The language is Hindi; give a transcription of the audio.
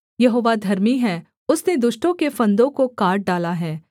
यहोवा धर्मी है उसने दुष्टों के फंदों को काट डाला है